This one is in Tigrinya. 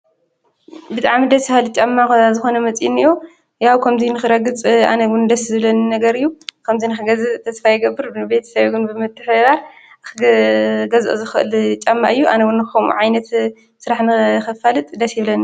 ብጣዕሚ ደስ በሃሊ ጫማ ዝኾነ መፂኡ ኒኦ ያው ከምዚ ንኽረግፅ ኣነ ውን ደስ ዝብለኒ ነግር እዩ። ከምዚ ንክገዝእ ተስፋ ይገብር ንቤተሰበይ እውን ብምትሕብባር ክገዝኦ ዝክእል ጫማ እዩ። ኣነ ውን ከምኡ ዓይነት ስራሕ ንከፋልጥ ደስ ይብለኒ።